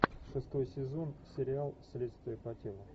шестой сезон сериал следствие по телу